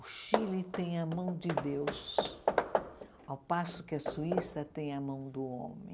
O Chile tem a mão de Deus, ao passo que a Suíça tem a mão do homem.